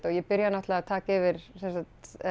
og ég byrja náttúrulega að taka yfir sem sagt